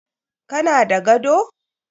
Ka na da gado?